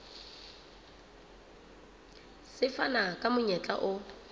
se fana ka monyetla o